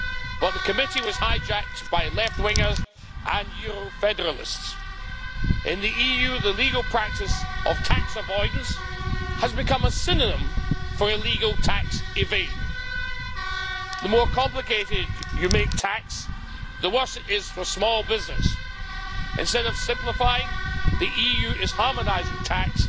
But the Committee was hijacked by left wingers and Euro federalists. In the EU, the legal practice of tax avoidance has become a synonym for illegal tax evasion. The more complicated you make tax, the worse it is for small business. Instead of simplifying, the EU is harmonising tax